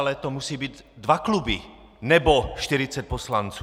Ale to musí být dva kluby nebo 40 poslanců.